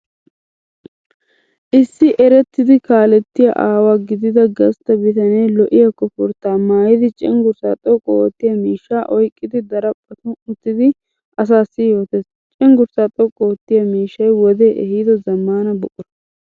Issi erettida kaalettiya aawa gidida gastta bitanee lo'iyaa koforttaa maayidi cenggurssaa xoqqu oottiya mishshaa oyqqidi daraphphan uttidi asaassi yootes. Cenggurssaa xoqqu oottiya miishshanmy wode ehido zammaana buqura.